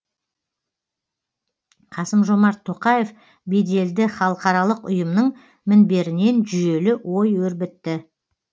қасым жомарт тоқаев беделді халықаралық ұйымның мінберінен жүйелі ой өрбітті